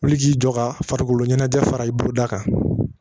Wuli ji jɔ ka farikolo ɲɛnajɛ fara i bolo da kan